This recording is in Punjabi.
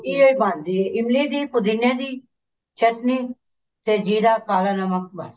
ਇਹ ਬਣਦੀ ਹੈ ਇਮਲੀ ਦੀ ਪੁਦੀਨੇ ਦੀ ਚਟਨੀ ਤੇ ਜ਼ੀਰਾ ਕਾਲਾ ਨਮਕ ਬਸ